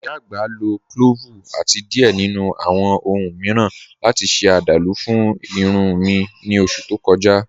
Ìyá agbá ló clọ́ọ́vu àti diẹ̀ nínu awọn ọ̀hun miiran láti ṣe àdálú fún ìrùn mi ní oṣù tó kọ̀ja.